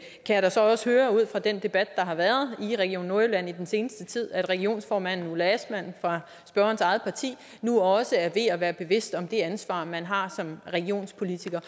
kan da så også høre ud fra den debat der har været i region nordjylland i den seneste tid at regionsformanden ulla astman fra spørgerens eget parti nu også er ved at være bevidst om det ansvar man har som regionspolitiker